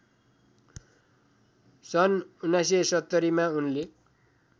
सन् १९७० मा उनले